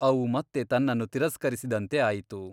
ಅವು ಮತ್ತೆ ತನ್ನನ್ನು ತಿರಸ್ಕರಿಸಿದಂತೆ ಆಯಿತು.